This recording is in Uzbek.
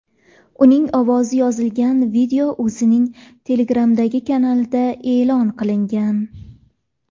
Uning ovozi yozilgan video o‘zining Telegram’dagi kanalida e’lon qilingan .